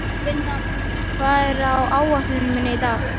Binna, hvað er á áætluninni minni í dag?